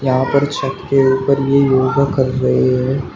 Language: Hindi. यहां पर छत के ऊपर ये योगा कर रहे हैं।